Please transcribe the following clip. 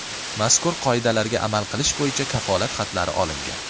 Mazkur qoidalarga amal qilish bo‘yicha kafolat xatlari olingan.